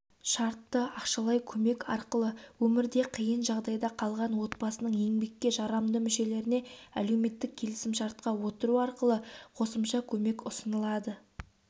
шартты ақшалай көмек арқылы өмірде қиын жағдайда қалған отбасының еңбекке жарамды мүшелеріне әлеуметтік келісімшартқа отыру арқылы қосымша көмек ұсынылады